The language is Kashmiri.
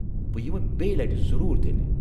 بہٕ یِمہٕ بییہ لٹہِ ضروٗز تیٚلہِ۔